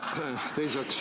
Teiseks ...